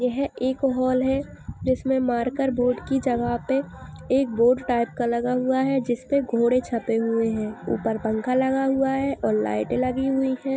यह एक हॉल है जिसमें मार्कर बोर्ड की जगह पे एक बोर्ड टाइप का लगा हुआ है जिस पे घोड़े छपे हुए हैं। ऊपर पंखा लगा हुआ है और लाइटे लगी हुई हैं।